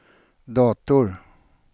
dator